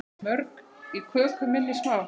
Mörg í köku minni sá.